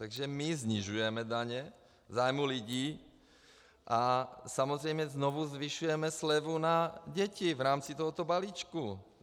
Takže my snižujeme daně v zájmu lidí a samozřejmě znovu zvyšujeme slevu na děti v rámci tohoto balíčku.